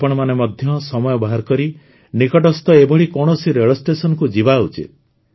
ଆପଣମାନେ ମଧ୍ୟ ସମୟ ବାହାର କରି ନିକଟସ୍ଥ ଏଭଳି କୌଣସି ରେଳ ଷ୍ଟେସନକୁ ଯିବା ଉଚିତ